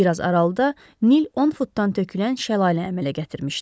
Bir az aralıda Nil 10 futdan tökülən şəlalə əmələ gətirmişdi.